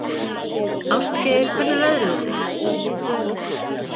Ástgeir, hvernig er veðrið úti?